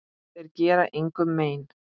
Þeir gera engum mein.